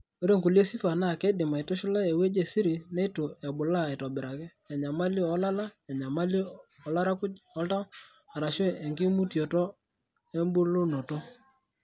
ore nkulie sifa naa keidim aitushula ewueji esiri neitu ebulaa aitobiraki; enyamali oolala, enyamali oolarakuj o oltau, arashuu enkimutioto embulunoto .